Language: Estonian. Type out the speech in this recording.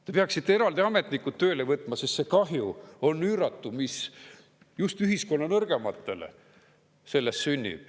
Te peaksite eraldi ametnikud tööle võtma, sest see kahju on üüratu, mis just ühiskonna nõrgematele sellest sünnib.